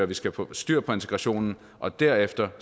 vi skal få styr på integrationen og derefter